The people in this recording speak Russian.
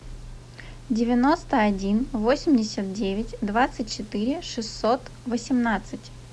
девяносто один восемьдесят девять двадцать четыре шестьсот восемнадцать